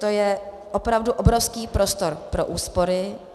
To je opravdu obrovský prostor pro úspory.